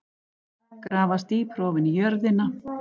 Grafast dýpra ofan í jörðina.